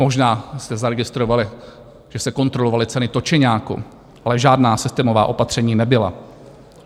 Možná jste zaregistrovali, že se kontrolovaly ceny točeňáku, ale žádná systémová opatření nebyla.